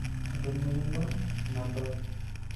Eton meyioloi ina bae